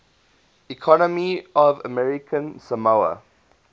economy of american samoa